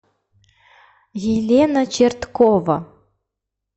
елена черткова